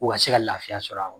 U ka se ka lafiya sɔr'a